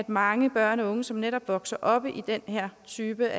mange børn og unge som netop vokser op i den her type